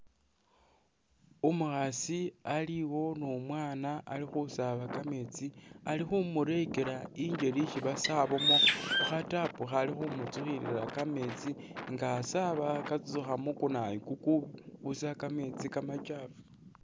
Umukhasi aliwo ni umwana ali khusaba kametsi ali khumulekela injeli isi basabamo khukha tap khali khumu’tsukhilila kametsi nga asaba katsutsukha mu kunayu kukubusa kamesti kamakyafu.